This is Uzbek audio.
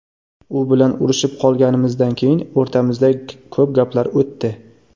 U bilan urishib qolganimizdan keyin o‘rtamizda ko‘p gaplar o‘tdi.